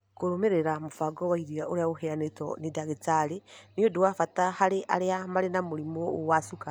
Kũrũmĩrĩra mũbango wa irio ũrĩa ũheanĩtwo nĩ ndagĩtarĩ nĩ ũndũ wa bata harĩ arĩa marĩ na mũrimũ wa cukari.